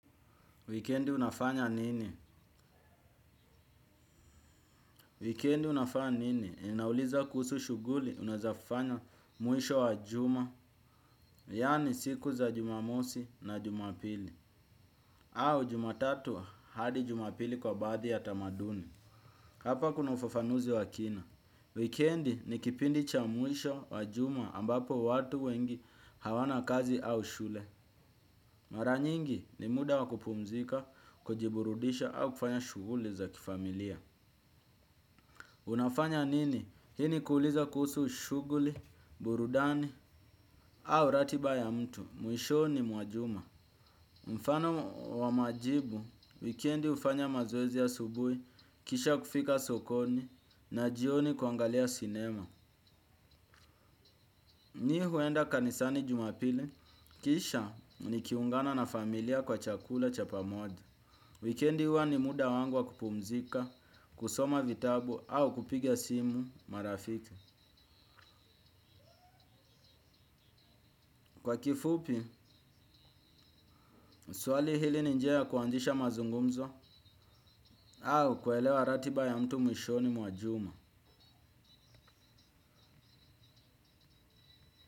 Wikendi unafanya nini? Wikendi unafanya nini? Inauliza kuhusu shughuli unaweza fanya mwisho wa juma, yaani siku za jumamosi na jumapili, au jumatatu hadi jumapili kwa baadhi ya tamaduni. Hapa kuna ufafanuzi wa kina. Wikendi ni kipindi cha mwisho wa juma ambapo watu wengi hawana kazi au shule. Mara nyingi ni muda wa kupumzika, kujiburudisha au kufanya shughuli za kifamilia. Unafanya nini? Hii ni kuuliza kuhusu shughuli, burudani au ratiba ya mtu. Mwishoni mwa juma. Mfano wa majibu, wikendi hufanya mazoezi asubuhi, kisha kufika sokoni na jioni kuangalia sinema. Mimi huenda kanisani jumapili, kisha nikiungana na familia kwa chakula cha pamoja. Wikendi huwa ni muda wangu wa kupumzika, kusoma vitabu au kupigaa simu marafiki. Kwa kifupi, swali hili ni njia ya kuanzisha mazungumzo au kuelewa ratiba ya mtu mwishoni mwa juma.